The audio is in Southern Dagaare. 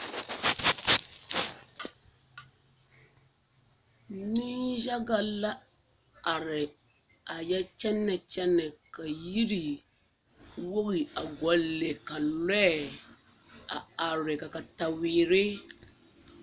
Nenyaga la are a yɛ kyɛnɛ kyɛnɛ ka yiri wogi a gɔle a lɔɛ are ka are kataweere